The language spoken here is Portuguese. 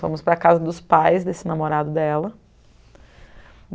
Fomos para a casa dos pais desse namorado dela.